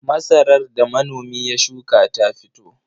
Masarar da manomi ya shuka ta fito.